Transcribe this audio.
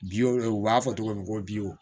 u b'a fɔ togo min ko